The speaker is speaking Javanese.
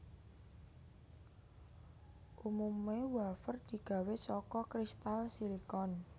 Umumé wafer digawé saka kristal silikon